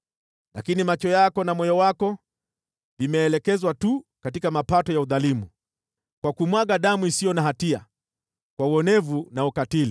“Lakini macho yako na moyo wako vimeelekezwa tu katika mapato ya udhalimu, kwa kumwaga damu isiyo na hatia, kwa uonevu na ukatili.”